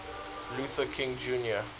luther king jr